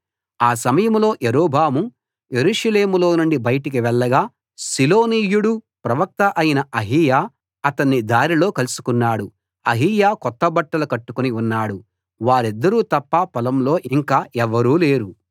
ఆ సమయంలో యరొబాము యెరూషలేములోనుండి బయటికి వెళ్ళగా షిలోనీయుడూ ప్రవక్త అయిన అహీయా అతన్ని దారిలో కలుసుకున్నాడు అహీయా కొత్తబట్టలు కట్టుకుని ఉన్నాడు వారిద్దరు తప్ప పొలంలో ఇంకా ఎవరూ లేరు